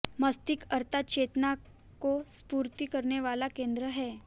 मस्तिष्क अर्थात चेतना को स्फुरित करने वाला केंद्र है